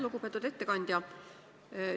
Lugupeetud ettekandja!